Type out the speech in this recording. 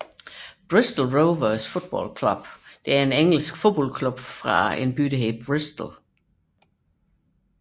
Bristol Rovers Football Club er en engelsk fodboldklub fra byen Bristol